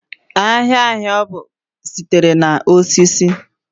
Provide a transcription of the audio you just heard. ahịhịa ọgwụ sitere na osisi